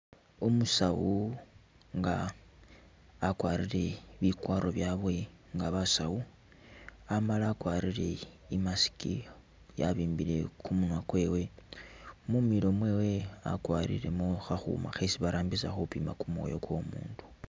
Umusawu nga akwarile bikwarwo byabwe nga basawu amala akwarire i'mask yabimbile kumunywa kwewe, mumilo mwewe akwarilemo akhuuma khesi barambisa khupima kumwoyo kwo umundu